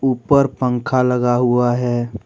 ऊपर पंखा लगा हुआ है।